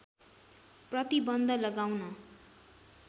प्रतिबन्ध लगाउन